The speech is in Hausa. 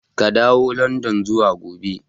Ka dawo landan zuwa gobe!